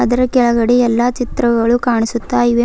ಇದರ ಕೆಳಗಡೆ ಎಲ್ಲಾ ಚಿತ್ರಗಳು ಕಾಣಿಸುತ್ತ ಇವೆ.